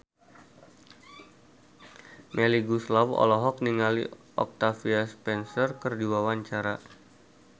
Melly Goeslaw olohok ningali Octavia Spencer keur diwawancara